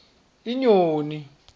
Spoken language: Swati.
inyoni